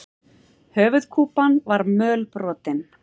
Höfuðkúpan var mölbrotin.